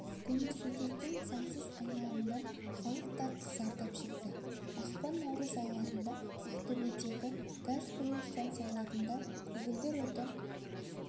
көмірсутектің заңсыз айналымынан халық та зардап шекті ақпан-наурыз айларында ақтөбедегі газ құю станцияларында көгілдір отын